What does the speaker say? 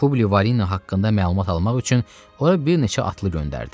Publi Varino haqqında məlumat almaq üçün ora bir neçə atlı göndərdi.